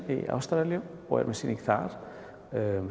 í Ástralíu og er með sýningu þar